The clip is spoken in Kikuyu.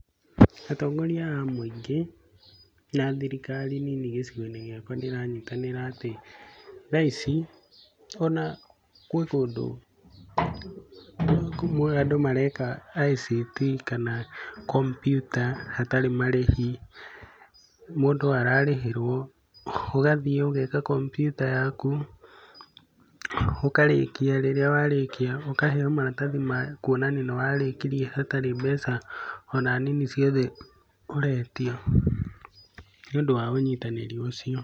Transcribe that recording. Atongoria a mũingĩ na thirikari nini gĩcigo-inĩ gĩakwa nĩ ĩranyitanĩra atĩ, thaa ici ona gwĩ kũndũ andũ mareka ICT kana kompiuta hatarĩ marĩhi. Mũndũ ararĩhĩrwo ũgathiĩ ũgeka kompiuta yaku ũkarĩkia, rĩrĩa warĩkia ũkaheo maratathi ma kuonania nĩ warĩkirie hatari mbeca ona nini ciothe ũretio, ni ũndũ wa ũnyitanĩri ũcio.